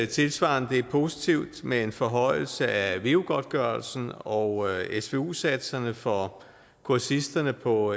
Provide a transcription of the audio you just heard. tilsvarende det er positivt med en forhøjelse af veu godtgørelsen og svu satserne for kursisterne på